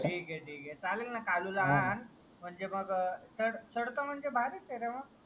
ठीके ठीके चालेल ना कालू ला आ आण म्हणजे मग अह चढ चढतो म्हणजे भारीच ये रे मग